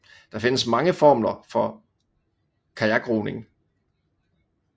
Der findes mange formler for kajakroning